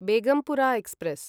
Begumpura express